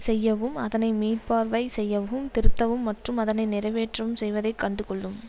செய்யவும் அதனை மீள்பார்வை செய்யவும் திருத்தவும் மற்றும் அதனை நிறைவேற்றவும் செய்வதை கண்டு கொள்ளும்